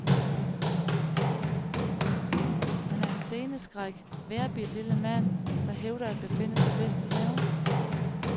Han er en senestærk, vejrbidt lille mand, der hævder at befinde sig bedst i haven.